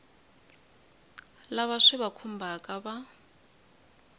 lava swi va khumbhaka va